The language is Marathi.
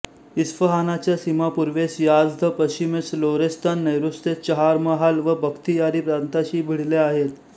इस्फहानाच्या सीमा पूर्वेस याझ्द पश्चिमेस लोरेस्तान नैऋत्येस चहार्महाल व बख्तियारी प्रांतांशी भिडल्या आहेत